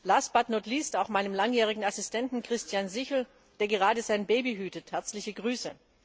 Last but not least auch meinem langjährigen Assistenten, Christian Sichel, der gerade sein Baby hütet herzliche Grüße!